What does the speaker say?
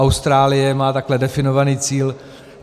Austrálie má takhle definovaný cíl.